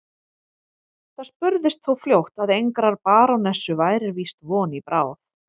Það spurðist þó fljótt að engrar barónessu væri víst von í bráð.